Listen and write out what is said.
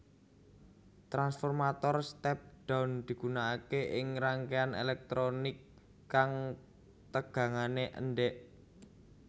Transformator step down digunakaké ing rangkaian elektronik kang tegangane endek